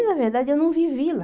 Na verdade, eu não vivi lá.